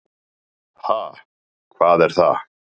Ha, hvað er það.